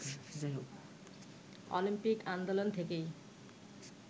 Olympic আন্দোলন থেকেই